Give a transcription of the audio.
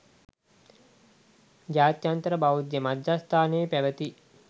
ජාත්‍යන්තර බෞද්ධ මධ්‍යස්ථානයේ පැවැති